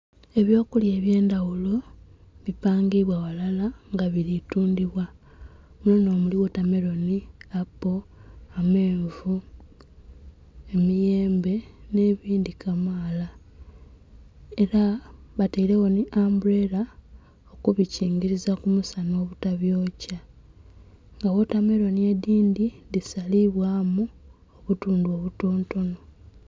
Eby'okulya eby'endaghulo bipangibwa ghalala nga bili tundhibwa. Munho nh'omuli wotameloni, apo, amenvu, emiyembe nh'ebindhi kamaala. Ela batailegho nhi ambuleela okubikingiliza ku musana obutabyokya. Nga wotameloni edhindhi dhisalibwamu obutundhu obutontono.